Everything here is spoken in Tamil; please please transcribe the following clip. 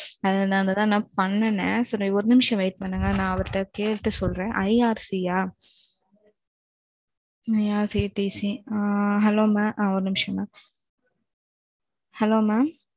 அதனால தான் நான் பண்ணுனேன். சரி ஒரு நிமிஷம் wait பன்னுங்க நான் அவர்ட கேட்டு சொல்றேன். IRC யா? IRCTC ஆ. Hello mam. ஒரு நிமிஷம் mam. Hello mam